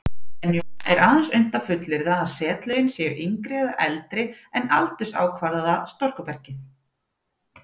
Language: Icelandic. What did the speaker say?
Venjulega er aðeins unnt að fullyrða að setlögin séu yngri eða eldri en aldursákvarðaða storkubergið.